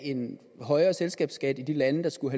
en højere selskabsskat i de lande der skulle